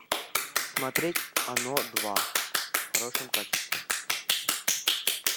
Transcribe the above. смотреть оно два в хорошем качестве